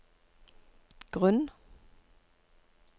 grunn